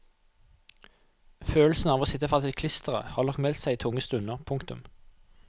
Følelsen av å sitte fast i klisteret har nok meldt seg i tunge stunder. punktum